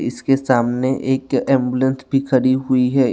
इसके सामने एक एम्बुलेंस भी खड़ी हुई है।